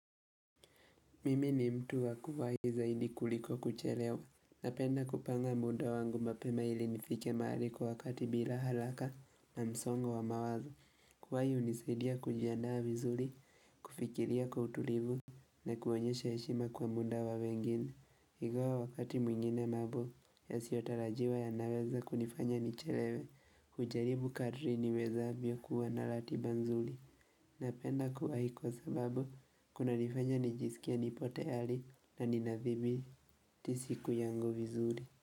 Mimi ni mtu wa kuwai zaidi kuliko kuchelewa. Napenda kupanga muda wangu mapema ili nifike mahali kwa wakati bila haraka, na msongo wa mawazo. Kuwai unisidia kujiandaa vizuri, kufikiria kwa utulivu, na kuonyesha heshima kwa muda wa wengine. Ingawa wakati mwingine mambo, yasiyo tarajiwa yanaweza kunifanya nichelewe. Kujaribu kadri niwezavyo kuwa na ratiba nzuri. Napenda kuwa hivyo sababu, kuna nifanya nijisikie nipotayari, na ninathibitii siku yangu vizuri.